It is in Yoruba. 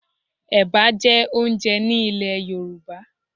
Ẹ̀bà jẹ́ oúnjẹ ní ilè Yorùbá.